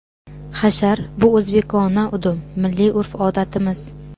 Hashar - bu o‘zbekona udum, milliy urf-odatimiz.